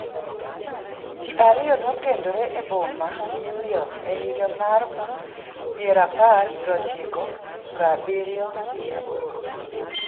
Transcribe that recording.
Ji ariyo nokendore e boma New York e higa mar pirapar prochiko prabirio gi abirio.